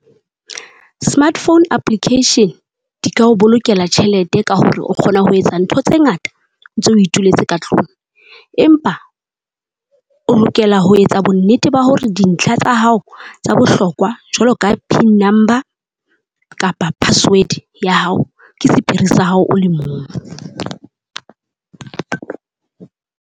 Smartphone application, di ka o bolokela tjhelete ka hore o kgona ho etsa ntho tse ngata, ntse o ituletse ka tlung. Empa, o lokela ho etsa bonnete ba hore dintlha tsa hao tsa bohlokwa, jwalo ka pin number kapa password ya hao ke sephiri sa hao o le mong.